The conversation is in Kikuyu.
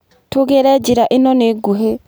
Tũgere njĩra ĩno nĩ nguhĩ.